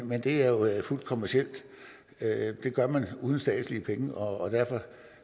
men det er jo fuldt kommercielt det gør man uden statslige penge og derfor